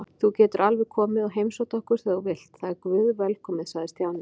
Þú getur alveg komið og heimsótt okkur þegar þú vilt, það er guðvelkomið sagði Stjáni.